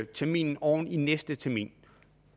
terminen oven i næste termin